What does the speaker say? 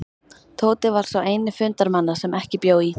Tóti var sá eini fundarmanna sem ekki bjó í